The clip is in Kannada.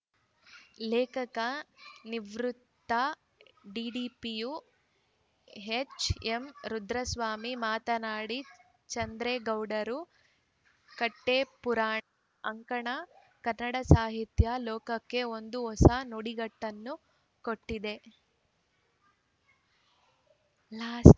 ಲೇಖಕ ನಿವೃತ್ತ ಡಿಡಿಪಿಯು ಎಚ್‌ಎಂ ರುದ್ರಸ್ವಾಮಿ ಮಾತನಾಡಿ ಚಂದ್ರೇಗೌಡರ ಕಟ್ಟೆಪುರಾಣ ಅಂಕಣ ಕನ್ನಡ ಸಾಹಿತ್ಯ ಲೋಕಕ್ಕೆ ಒಂದು ಹೊಸ ನುಡಿಗಟ್ಟನ್ನು ಕೊಟ್ಟಿದೆ